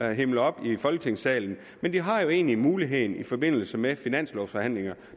himler op i folketingssalen de har jo egentlig muligheden i forbindelse med finanslovforhandlinger